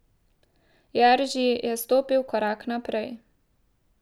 Jerži je stopil korak naprej.